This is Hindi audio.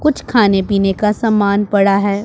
कुछ खाने-पीने का सामान पड़ा है।